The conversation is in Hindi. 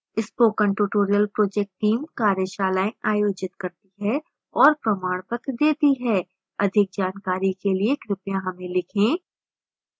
spoken tutorial project team कार्यशालाएँ आयोजित करती है और प्रमाणपत्र देती है अधिक जानकारी के लिए कृपया हमें लिखें